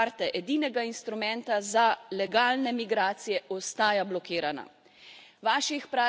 Prenova modre karte, edinega instrumenta za legalne migracije, ostaja blokirana.